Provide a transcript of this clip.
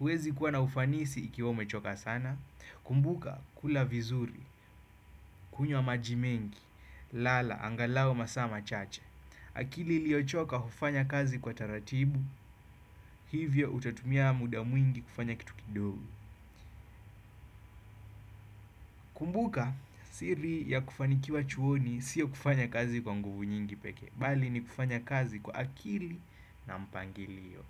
uwezi kuwa na ufanisi ikiwa umechoka sana. Kumbuka kula vizuri, kunywa majimengi, lala, angalau masaa machache. Akili iliyochoka hufanya kazi kwa taratibu, hivyo utatumia muda mwingi kufanya kitu kidogo. Kumbuka siri ya kufanikiwa chuoni sio kufanya kazi kwa nguvu nyingi pekee. Bali ni kufanya kazi kwa akili na mpangilio.